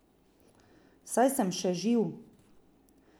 Saj sem še živ!